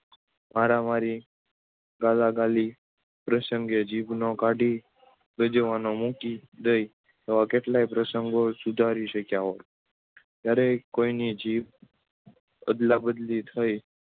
મારામારી ગાળાગાળી પર્શ્નગે જીભને કાઢી ગજવામાં મૂકી દઈ આવકે કેટલાય પ્રસંગો સુધારી શક્યા હોત દરેક કોઈની જીભ અદલા બદલી થઇ